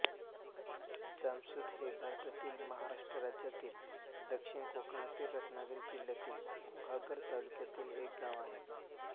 जामसूत हे भारतातील महाराष्ट्र राज्यातील दक्षिण कोकणातील रत्नागिरी जिल्ह्यातील गुहागर तालुक्यातील एक गाव आहे